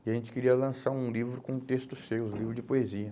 e a gente queria lançar um livro com um texto seu, um livro de poesia.